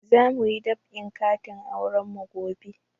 Za muyi dab'in katin auren ku gobe